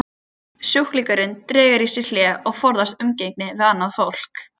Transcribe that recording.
Sjúklingurinn dregur sig í hlé og forðast umgengni við annað fólk.